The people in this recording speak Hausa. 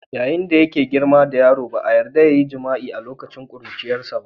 yayin da yake girma da yaro ba a yarda ya yi jima'i a lokacin ƙuruciyarsa.